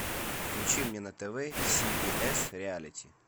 включи мне на тв си би эс реалити